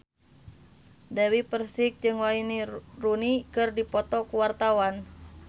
Dewi Persik jeung Wayne Rooney keur dipoto ku wartawan